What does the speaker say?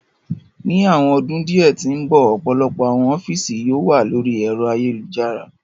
Ni awọn ọdun diẹ ti n bọ, ọpọlọpọ awọn ọfiisi yoo wa lori ẹ̀ro ayelujara